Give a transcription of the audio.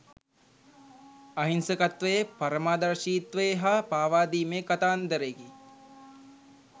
අහිංසකත්වයේ පරමාදර්ශීත්වයේ හා පාවාදීමේ කතාන්තරයකි.